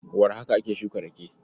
Warhaka ake shuka rake.